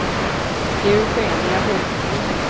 Eugenia Hultgren